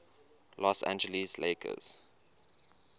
los angeles lakers